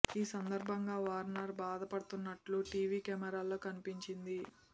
ఈ సందర్భంగా వార్నర్ బాధ పడుతున్నట్టు టీవీ కెమెరాల్లో కనిపించింది